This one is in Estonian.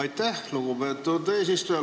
Aitäh, lugupeetud eesistuja!